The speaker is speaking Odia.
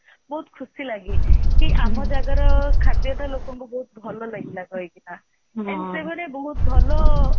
ବହୁତ ଖୁସି ଲାଗେ କି ଆମ ଜାଗାର ଖାଦ୍ଯଟା ଲୋକଙ୍କୁ ବହୁତ ଭଲ ଲାଗେ କହିକି ନା ଏମିତି ଗୋଟେ ବହୁତ ଭଲ